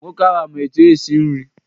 Nwoke ahụ ama etu esi nri?